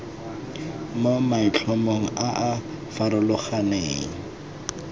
mo maitlhomong a a farologaneng